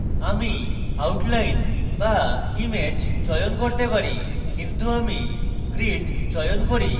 আমি outline বা image চয়ন করতে পারি কিন্তু আমি grid চয়ন করি